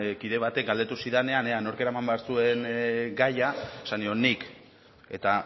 kide batek galdetu zidanean ea nork eraman behar zuen gaia esan nion nik eta